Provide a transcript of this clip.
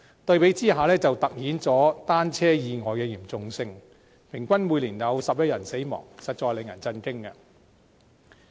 對比之下，便凸顯出單車意外的嚴重性，平均每年有11人死亡，實在令人震驚。